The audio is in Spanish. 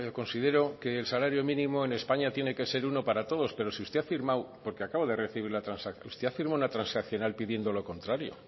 considero que el salario mínimo en españa tiene que ser uno para todos pero si usted ha firmado porque acabo de recibir la transacción una transaccional pidiendo lo contrario